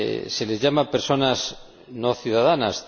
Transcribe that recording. Se les llama personas no ciudadanas.